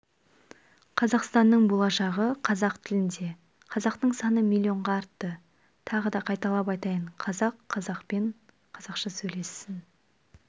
қазақстанның болашағы қазақ тілінде қазақтың саны миллионға артты тағы да қайталап айтайын қазақ қазақпен қазақша сөйлессін